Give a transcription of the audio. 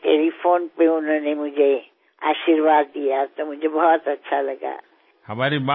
telephone లో ఆవిడ నాకు ఆశీస్సులు అందించినప్పుడూ నాకు చాలా ఆనందం కలిగింది